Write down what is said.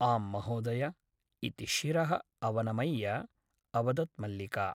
आं महोदय ! इति शिरः अवनमय्य अवदत् मल्लिका ।